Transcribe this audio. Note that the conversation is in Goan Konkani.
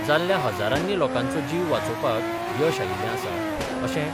जाल्ल्या हजारांनी लोकांचो जीव वाचोवपाक यश आयिल्लें आसा अशें